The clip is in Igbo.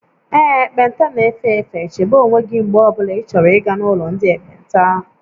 Ee, ekpenta na-efe efe, chebe onwe gị mgbe ọ bụla ịchọrọ ịga n'ụlọ ndị ekpenta